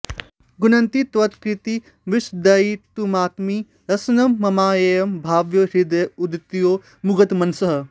गुणन्ति त्वत् कीर्तिं विशदयितुमात्मीयरसनं ममाप्येवं भावो हृदय उदितो मुग्धमनसः